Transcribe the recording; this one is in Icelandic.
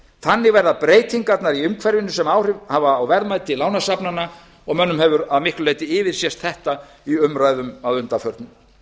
þannig verða breytingarnar í umhverfinu sem áhrif hafa á verðmæti lánasafnanna og mönnum hefur að miklu leyti yfirsést þetta í umræðum að undanförnu